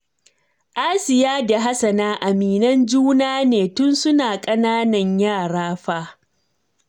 Asiya da Hassana aminan juna ne tun suna ƙananan yara fa